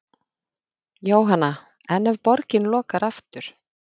Jóhanna: En ef borgin lokar aftur?